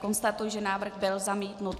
Konstatuji, že návrh byl zamítnut.